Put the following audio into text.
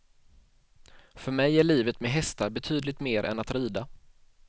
För mig är livet med hästar betydligt mer än att rida.